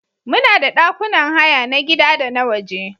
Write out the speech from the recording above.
Muna da ɗakunan haya na gida da na waje.